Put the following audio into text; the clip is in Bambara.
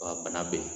Wa bana bɛ yen